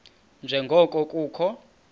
nje ngoko kukho